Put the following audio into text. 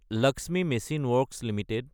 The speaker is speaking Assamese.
Lakshmi machine works Ltd